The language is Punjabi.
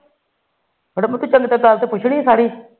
ਣ